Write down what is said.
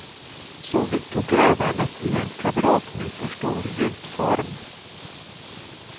Så vidtog grävandet i en kvadratmeterstor gjutform.